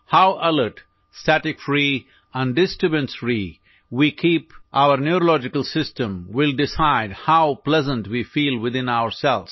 How alert static free and disturbance free we keep neurological system will decide how pleasant we feel within ourselves